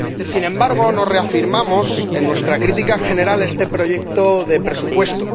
Sin embargo, nos reafirmamos en nuestra crítica general a este proyecto de presupuesto.